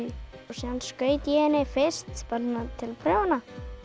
síðan skaut ég henni fyrst bara til að prófa hana